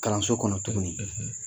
Kalanso kɔnɔ tuguni.